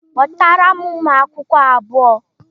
Kpọtara m ụmụakwụkwọ abuo!